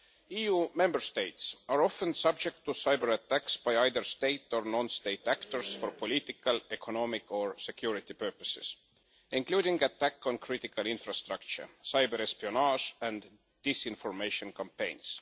EU Member States are often subject to cyber-attacks by either state or non state actors for political, economic or security purposes, including attacks on critical infrastructure, cyber-espionage and disinformation campaigns.